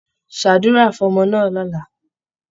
Ṣàdúrà fọ́mọ náà lọ̀la!